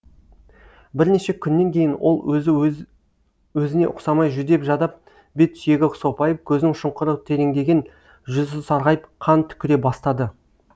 бірнеше күннен кейін ол өзі өзіне ұқсамай жүдеп жадап бет сүйегі сопайып көзінің шұңқыры тереңдеген жүзі сарғайып қан түкіре бастады